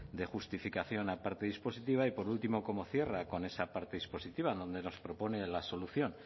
de justificación a parte dispositiva y por último cómo cierra con esa parte dispositiva donde nos propone la solución